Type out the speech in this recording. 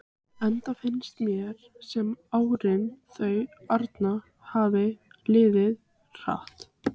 Enda finnst mér sem árin þau arna hafi liðið hratt.